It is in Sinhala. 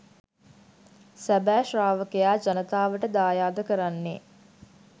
සැබෑ ශ්‍රාවකයා ජනතාවට දායාද කරන්නේ